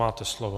Máte slovo.